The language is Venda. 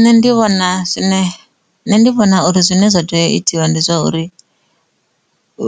Nṋe ndi vhona zwine, nṋe ndi vhona uri zwine zwa teya itiwa ndi zwa uri